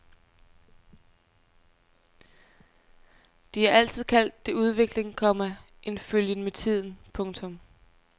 De har altid kaldt det udvikling, komma en følgen med tiden. punktum